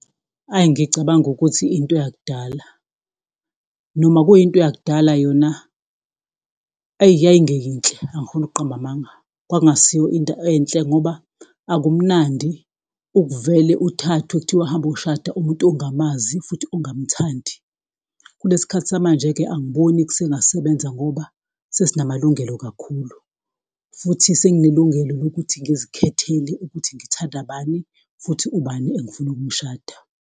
Hhayi ngicabanga ukuthi into eyakudala, noma kuyinto yakudala yona, eyi yayingeyinhle, angifuni ukuqamba amanga, kwakungesiyo into enhle ngoba akumnandi ukuvele uthathwe kuthiwa hamba uyoshada umuntu ongamazi futhi ungamuthandi. Kulesikhathi samanje-ke angiboni kusengasebenza ngoba sesinamalungelo kakhulu, futhi senginelungelo lokuthi ngizikhethele ukuthi ngithanda bani futhi ubani engifuna ukumshada.